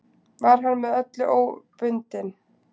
Var hann með öllu óbundinn.